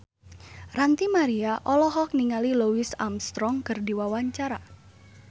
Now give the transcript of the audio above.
Ranty Maria olohok ningali Louis Armstrong keur diwawancara